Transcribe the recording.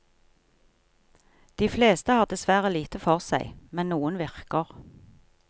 De fleste har dessverre lite for seg, men noen virker.